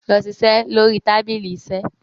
lọ ṣiṣẹ lórí tábìlì iṣe.